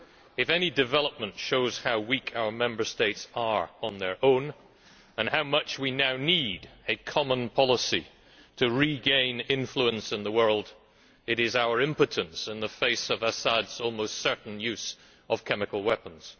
If any development shows how weak our Member States are on their own and how much we now need a common policy to regain influence in the world, it is our impotence in the face of Assad's almost certain use of chemical weapons.